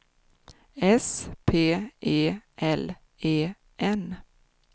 S P E L E N